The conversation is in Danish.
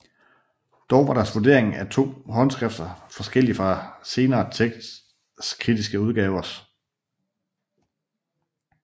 Dog var deres vurdering af de to håndskrifter forskellig fra senere tekstkritiske udgavers